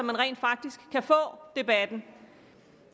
vi rent faktisk kan få debatten